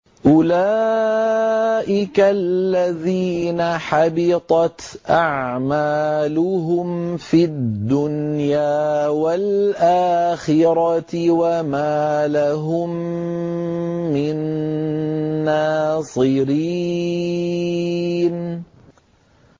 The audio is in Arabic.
أُولَٰئِكَ الَّذِينَ حَبِطَتْ أَعْمَالُهُمْ فِي الدُّنْيَا وَالْآخِرَةِ وَمَا لَهُم مِّن نَّاصِرِينَ